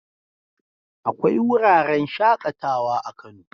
Akwai wuraren shaƙatawa a Kano.